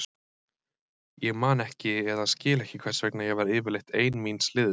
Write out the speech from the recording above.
Ég man ekki eða skil ekki hvers vegna ég var yfirleitt ein míns liðs.